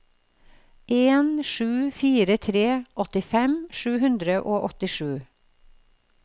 en sju fire tre åttifem sju hundre og åttisju